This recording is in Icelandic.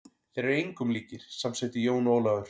Þeir eru engum líkir, samsinnti Jón Ólafur.